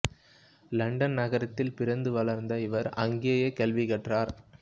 London நகரத்தில் பிறந்து வளர்ந்த இவர் அங்கேயே கல்வி கற்றார்